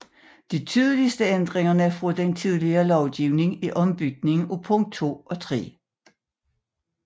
De tydeligeste ændringer fra den tidligere lovgivning er ombytningen af punkt 2 og 3